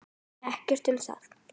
Ekkert um það.